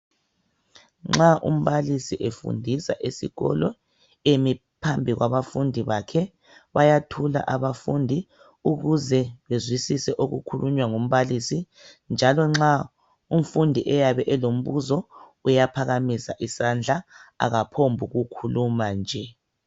Nxa umbalisi ufundisa esikolo emi phambi kwabafundi bakhe. Bayathula abafundi ukuze bezwisise okukhulunywa ngumbalisi. Njalo nxa umfundi eyabe elombuza, uyaphakamisa isandla akaphongokhuluma nje.